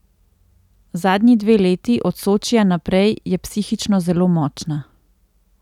Zadnji dve leti, od Sočija naprej, je psihično zelo močna.